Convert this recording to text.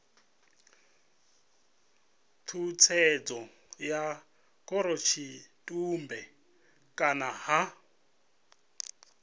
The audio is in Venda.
tshutshedzo ya khorotshitumbe kana ha